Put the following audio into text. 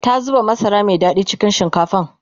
ta zuba masara Mai Zaki cikin shinkafan